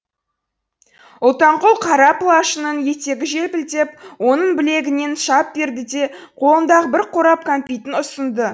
ұлтанқұл қара пылашының етегі желпілдеп оның білегінен шап берді де қолындағы бір қорап кәмпитін ұсынды